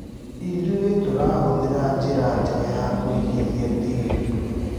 Ithuĩtũratũmĩra njĩra njega ya kũigithia tĩĩri